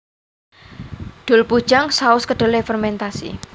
Deopuljang saus kedelai fermentasi